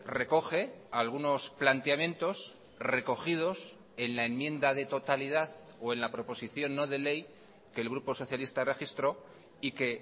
recoge algunos planteamientos recogidos en la enmienda de totalidad o en la proposición no de ley que el grupo socialista registró y que